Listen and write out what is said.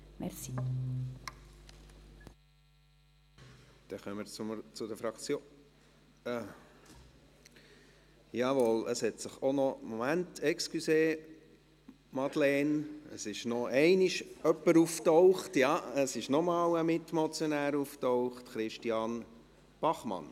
Dann kommen wir zu den Fraktionen … Moment, Entschuldigung, Madeleine Graf, es ist noch einmal ein Mitmotionär aufgetaucht: Christian Bachmann.